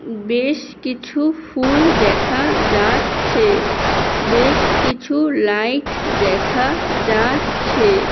বেশ কিছু ফুল দেখা যা--চ্ছে। বেশ কিছু লাইট দেখা যা--চ্ছে।